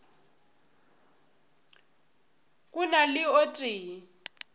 go na le o tee